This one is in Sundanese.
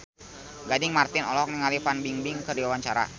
Gading Marten olohok ningali Fan Bingbing keur diwawancara